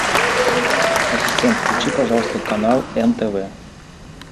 ассистент включи пожалуйста канал нтв